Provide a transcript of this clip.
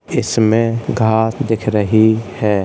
इसमें घास दिख रही है।